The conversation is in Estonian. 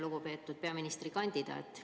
Lugupeetud peaministrikandidaat!